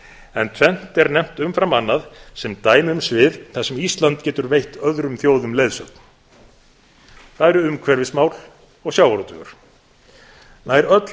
en tvennt er nefnt umfram annað sem dæmi um svið þar sem ísland getur veitt öðrum þjóðum leiðsögn það eru umhverfis mál og sjávarútvegur nær öll